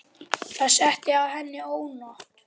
Það setti að henni ónot.